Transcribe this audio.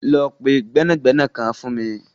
Lọ pẹ gbẹnagbẹna kan fun mi.